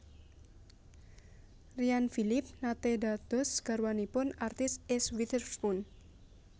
Ryan Phillippe nate dados garwanipun artis Eese Witherspoon